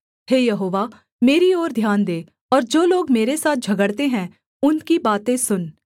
हे यहोवा मेरी ओर ध्यान दे और जो लोग मेरे साथ झगड़ते हैं उनकी बातें सुन